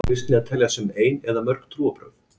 Á þá kristni að teljast sem ein eða mörg trúarbrögð?